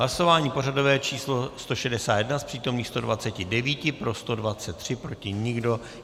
Hlasování pořadové číslo 161, z přítomných 129 pro 123, proti nikdo.